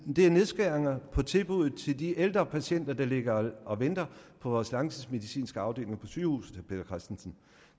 er nedskæringer på tilbuddet til de ældre patienter der ligger og venter på vores langtidsmedicinske afdelinger på sygehusene vil christensen